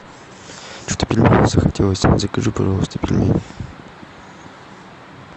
что то пельменей захотелось закажи пожалуйста пельмени